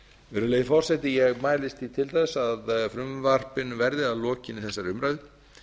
virðulegi forseti ég mælist til að frumvarpinu verði að lokinni þessari umræðu